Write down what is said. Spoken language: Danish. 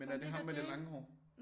Men er det ham med det lange hår